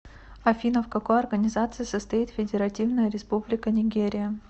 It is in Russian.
афина в какой организации состоит федеративная республика нигерия